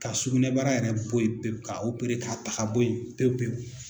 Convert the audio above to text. Ka sugunɛbara yɛrɛ bɔ yen pewu k'a ta ka bɔ yen pewu pewu.